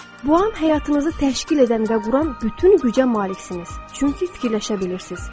Bu an həyatınızı təşkil edən və quran bütün gücə maliksiniz, çünki fikirləşə bilirsiz.